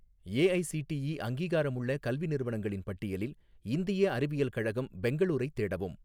AICTE அங்கீகாரமுள்ள கல்வி நிறுவனங்களின் பட்டியலில் இந்திய அறிவியல் கழகம் பெங்களூரைத் தேடவும்